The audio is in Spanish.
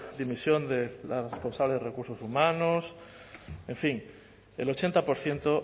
dimisión de la responsable de recursos humanos en fin el ochenta por ciento